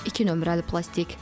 İki nömrəli plastik.